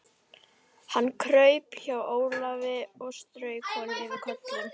Hann kraup hjá Ólafi og strauk honum yfir kollinn.